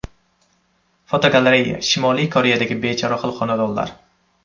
Fotogalereya: Shimoliy Koreyadagi bechorahol xonadonlar.